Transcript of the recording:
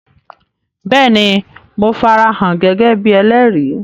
Béèni, Mo farahàn gẹ́gẹ́ bíi ẹlẹ́rìí